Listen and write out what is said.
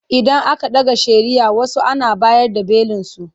Idan aka ɗaga shari'ah wasu Ana bayar da belinsu.